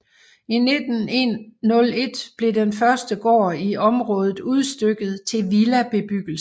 I 1901 blev den første gård i området udstykket til villabebyggelse